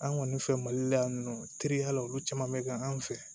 An kɔni fɛ mali la yan nɔ teriya la olu caman bɛ kɛ an fɛ